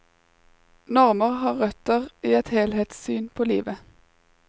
Normer har røtter i et helhetssyn på livet.